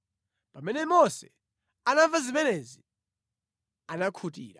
Pamene Mose anamva zimenezi, anakhutira.